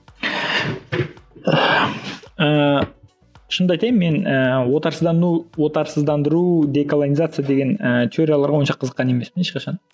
ііі шынымды айтайын мен ііі отарсыздану отарсыздандыру деколонизация деген ііі теорияларға онша қызыққан емеспін ешқашан